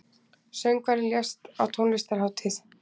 Söngvari lést á tónlistarhátíð